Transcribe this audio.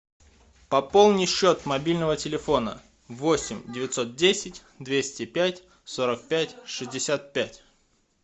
пополни счет мобильного телефона восемь девятьсот десять двести пять сорок пять шестьдесят пять